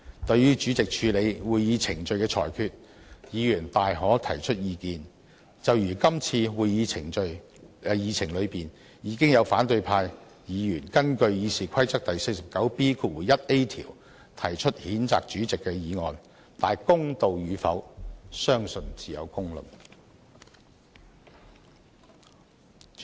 對於主席為處理會議程序而作出的裁決，議員大可提出意見，就如今次會議議程中，已有反對派議員根據《議事規則》第 49B 條提出譴責主席的議案，公道與否，相信自有公論。